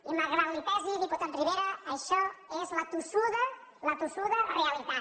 i malgrat que li pesi diputat rivera això és la tossuda la tossuda realitat